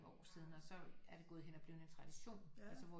År siden og så er det gået hen og blevet en tradition altså hvor